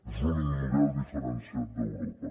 és l’únic model diferenciat d’europa